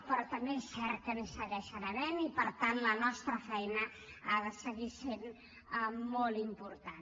però també és cert que n’hi segueixen havent i per tant la nostra feina ha de seguir sent molt important